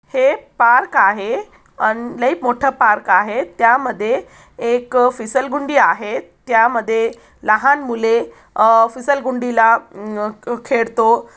हे पार्क आहे अन लय मोठ पार्क आहे त्या मध्ये एक फिसल्गुंडी आहे त्या मध्ये फिसल्गुंडी ला अम खेळतो.